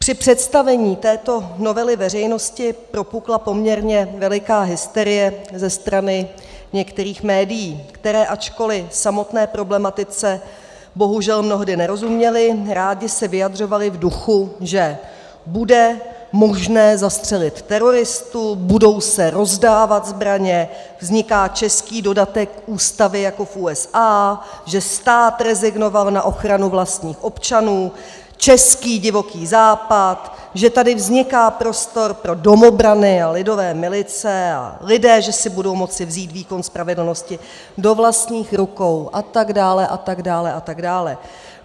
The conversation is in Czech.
Při představení této novely veřejnosti propukla poměrně veliká hysterie ze strany některých médií, která, ačkoliv samotné problematice bohužel mnohdy nerozuměla, ráda se vyjadřovala v duchu, že bude možné zastřelit teroristu, budou se rozdávat zbraně, vzniká český dodatek Ústavy jako v USA, že stát rezignoval na ochranu vlastních občanů, český Divoký západ, že tady vzniká prostor pro domobrany a lidové milice a lidé že si budou moci vzít výkon spravedlnosti do vlastních rukou, a tak dále a tak dále a tak dále.